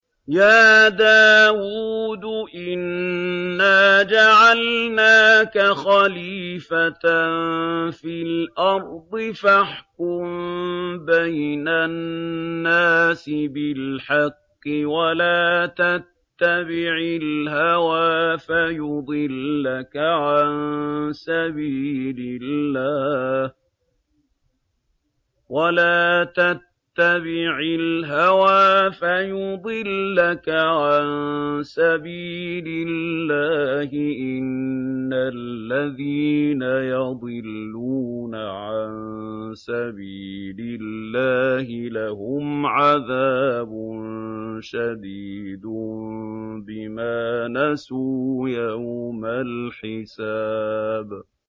يَا دَاوُودُ إِنَّا جَعَلْنَاكَ خَلِيفَةً فِي الْأَرْضِ فَاحْكُم بَيْنَ النَّاسِ بِالْحَقِّ وَلَا تَتَّبِعِ الْهَوَىٰ فَيُضِلَّكَ عَن سَبِيلِ اللَّهِ ۚ إِنَّ الَّذِينَ يَضِلُّونَ عَن سَبِيلِ اللَّهِ لَهُمْ عَذَابٌ شَدِيدٌ بِمَا نَسُوا يَوْمَ الْحِسَابِ